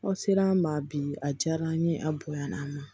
Aw ser'an ma bi a diyara an ye a bonya na an ma